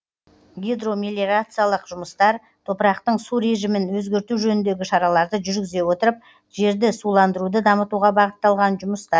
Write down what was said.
гидромелиорациялық жұмыстар топырақтың су режімін өзгерту жөніндегі шараларды жүргізе отырып жерді суландыруды дамытуға бағытталған жұмыстар